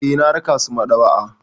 Eh, na raka su maɗaba'a.